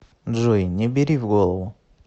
джой не бери в голову